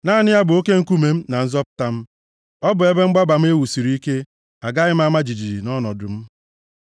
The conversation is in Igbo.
Naanị ya bụ oke nkume m na nzọpụta m; ọ bụ ebe mgbaba m e wusiri ike, agaghị m ama jijiji nʼọnọdụ m.